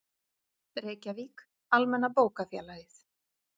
Reykjavík, Almenna bókafélagið.